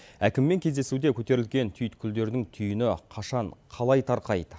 әкіммен кездесуде көтерілген түйткілдердің түйіні қашан қалай тарқайды